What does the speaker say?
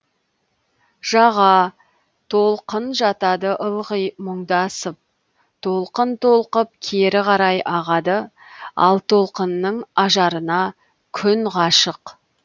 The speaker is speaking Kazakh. жаға толқын жатады ылғи мұңдасып толқын толқып кері қарай ағады ал толқынның ажарына күн ғашық